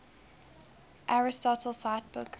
aristotle cite book